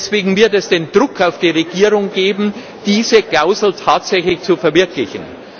Deswegen wird es den Druck auf die Regierung geben, diese Klausel tatsächlich zu verwirklichen.